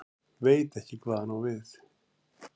Veit ekki hvað hann á við.